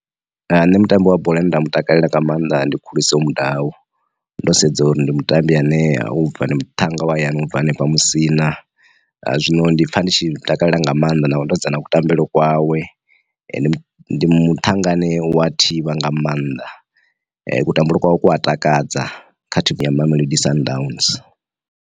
Ane mutambo wa bola nda mu takalela nga maanḓa ndi khuliso mudau ndo sedza uri ndi mutambi ane a ubva ndi muthannga wa hayani ubva hanefha musina, zwino ndi pfha ndi tshi takalela nga maanḓa na ndo dza na kutambele kwawe ndi muthannga ane wa thivha nga maanḓa kutambele kwawe ku a takadza kha thimu ya Mamelodi Sundowns.